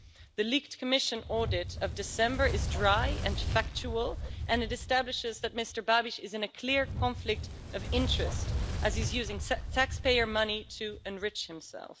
The leaked Commission audit of December is dry and factual, and it establishes that Mr Babiš is in a clear conflict of interests, as he's using taxpayer money to enrich himself.